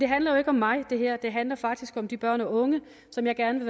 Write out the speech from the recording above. handler jo ikke om mig det handler faktisk om de børn og unge som jeg gerne